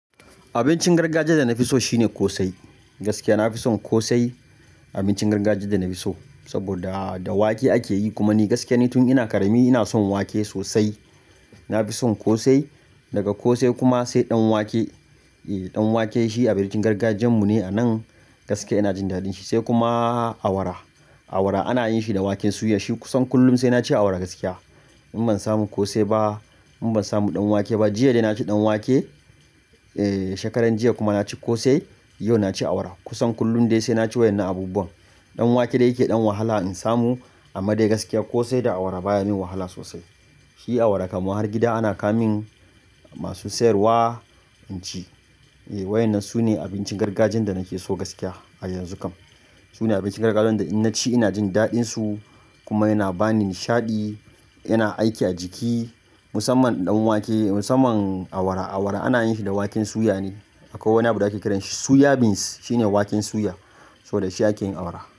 Abincin gargajiya da na fi so shine ƙosai. Gaskiya na fi son ƙosai abincin gargajiya da na fi so. Saboda da wake ake yi kuma ni gaskiya ne tun ina ƙarami ina son wake sosai. Na fi son ƙosai, daga ƙosai kuma sai ɗan wake. Ehh, ɗan wake shi abincin gargajiyan mu ne a nan gaskiya ina jin daɗin shi sai kuma awara. Awara ana yin shi da waken suya. Shi kusan kullum sai na ci awara gaskiya. In ban samu ƙosai ba in ban samu ɗan wake ba, jiya dai na ci ɗan wake. Eh, shekaran jiya kuma na ci ƙosai. Yau na ci awara. Kusan kullum dai sai na ci wayan na abubuwan. Ɗan wake dai yake ɗan wahala in samu amma dai gaskiya ƙosai da awara baya ni wahala sosai. Shi awara kamar har gida ana ka min masu siyarwa in ci. Eh, wayan nan su ne abincin gargajiya da nake so gaskiya a yanzu kam. Su ne abincin gargajiya wanda in na ci ina jin daɗin su kuma yana ba ni nishaɗi. Yana aiki a jiki. Musamman ɗan wake musamman awara. Awara ana yin shi da waken suya ne. Akai wani abu da ake kiranshi suya beans. Shi ne waken suya. So da shi ake yin awara.